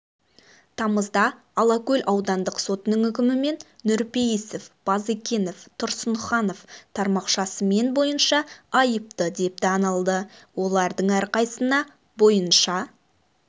тамызда алакөл аудандық сотының үкімімен нұрпейісов базекенов тұрсынханов тармақшасымен бойынша айыпты деп танылды олардың әрқайсына бойынша